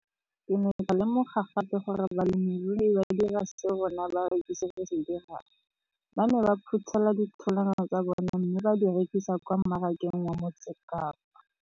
Ke ne ka lemoga gape gore balemirui ba dira seo rona barekisi re se dirang ba ne ba phuthela ditholwana tsa bona mme ba di rekisa kwa marakeng wa Motsekapa.